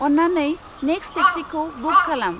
अन्नानै नेक्स्ट टेक्सिखौ बुक खालाम।